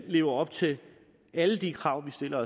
lever op til alle de krav vi stiller